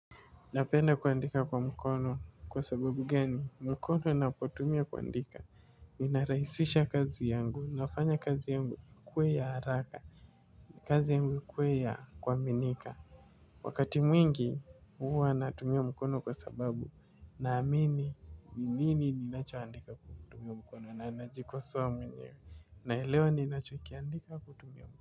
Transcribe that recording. Napenda kuandika kwa mkono kwa sababu gani mkono napotumia kuandika. Inaraisisha kazi yangu nafanya kazi yangu kwe ya haraka. Kazi kwea kuaminika. Wakati mwingi huwa anatumia mkono kwa sababu naamini ni nini ninachoandika kutumia mkono na najikosoa mwenyewe naelewa ninachokiandika kutumia mkono.